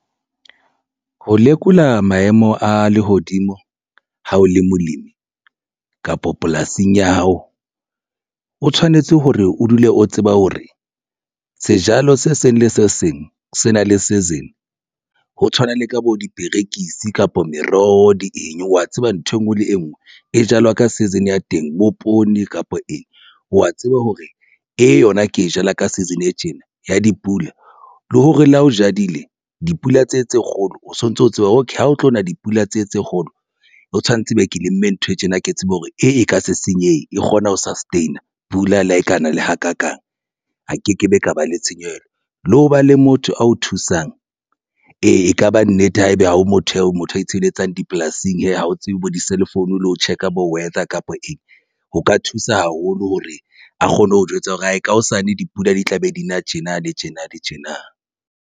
Ho lekola maemo a lehodimo ha o le molemi kapa polasing ya hao, o tshwanetse hore o dule o tseba hore sejalo se seng le se seng se na le season. Ho tshwana le ka bo diperekisi kapa meroho di eng wa tseba nthwe ngwe le e nngwe e jalwa ka season ya teng. Bo poone kapa eng wa tseba hore e yona ke e jala ka season e tjena ya dipula le hore le ha o jadile dipula tse tse kgolo o sontso o tseba okay, ha o tlo na dipula tse tse kgolo o tshwanetse be ke lemme ntho e tjena ke tsebe hore e ka se senyehe, e kgona ho sustain a pula lekana le hakakang a ke ke be ka ba le tshenyehelo, le ho ba le motho ao thusang. Ee, ekaba nnete haebe ha o motho eo motho ya itshebeletsang dipolasing hee ha o tsebe ho di cell phone le ho check a bo weather kapa eng o ka thusa haholo hore a kgone ho jwetsa hore hae ka hosane dipula di tla be di tjena, le tjena le tjena.